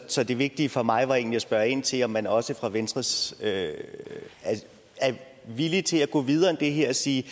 så det vigtige for mig var egentlig at spørge ind til om man også fra venstres side er villig til at gå videre end det her og sige